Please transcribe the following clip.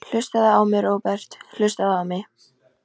Hlustaðu á mig, Róbert, hlustaðu á mig.